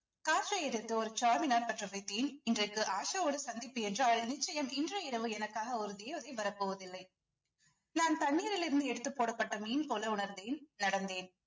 காற்றை எதிர்த்து ஒரு பெற்ற இன்றைக்கு ஆஷாவோட சந்திப்பு என்று அது நிச்சயம் இன்று இரவு எனக்காக ஒரு தேவதை வரப்போவதில்லை நான் தண்ணீரிலிருந்து எடுத்து போடப்பட்ட மீன் போல உணர்ந்தேன் நடந்தேன்